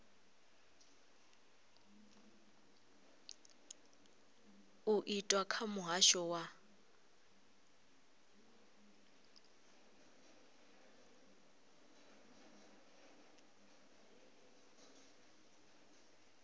u itwa kha muhasho wa